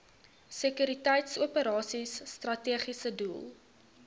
sekuriteitsoperasies strategiese doel